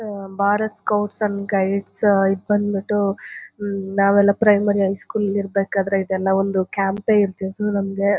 ಹ Bharat scouts and guides ಇದ್ ಬಂದ್ಬಿಟು ಹ್ಮ್ಮ್ ನಾವೆಲ್ಲ ಪ್ರೈಮರಿ ಹೈ ಸ್ಕೂಲ್ ಅಲ್ ಇರ್ಬೇಕಾದ್ರೆ ಇದೆಲ್ಲ ಒಂದು ಕ್ಯಾಂಪ್ ಇರ್ತಿತ್ತು ನಮಗೆ.